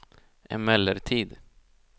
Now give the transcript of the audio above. emellertid